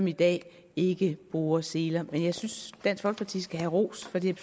i dag ikke bruger seler jeg synes dansk folkeparti skal have ros for det